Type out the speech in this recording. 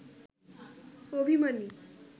অভিমানী